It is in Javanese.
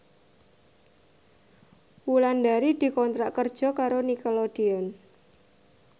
Wulandari dikontrak kerja karo Nickelodeon